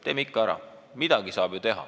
Teeme ikka ära, midagi saab ju teha.